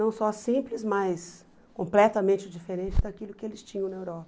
Não só simples, mas completamente diferente daquilo que eles tinham na Europa.